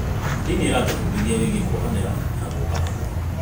Ndini ĩratũbundithia wĩgiĩ kuohanĩra na gũũka hamwe.